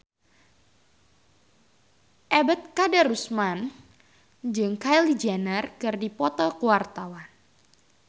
Ebet Kadarusman jeung Kylie Jenner keur dipoto ku wartawan